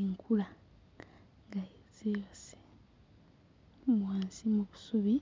Enkula nga zeebase wansi mu busubi.